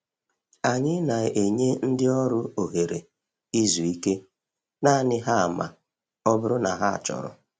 Anyị na-enye ndị ọrụ ohere izu ike naanị ha ma ọ bụrụ na ha chọrọ.